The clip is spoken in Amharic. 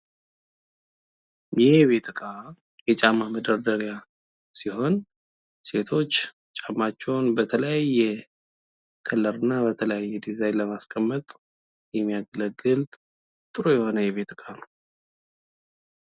ይህ የቤት እቃ የጫማ መደርደሪያ ሲሆን ሴቶች ጫማቸውን በተለያየ ከለር እና በተለያየ ዲዛይን ለማስቀመጥ የሚያገለግል ጥሩ የሆነ የቤት እቃ ነው።